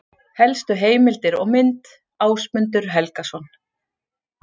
Helstu heimildir og mynd: Ásmundur Helgason.